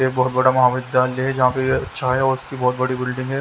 ये बहुत बड़ा महाविद्यालय है जहाँ पे अच्छा है और उसकी बहुत बड़ी बिल्डिंग है।